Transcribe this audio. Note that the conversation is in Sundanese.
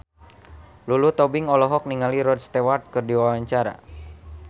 Lulu Tobing olohok ningali Rod Stewart keur diwawancara